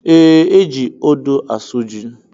E, eji odo asụ ji